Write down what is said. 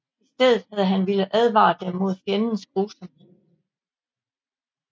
I stedet havde han villet advare dem mod fjendens grusomhed